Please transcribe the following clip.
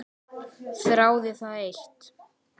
Þráði það eitt.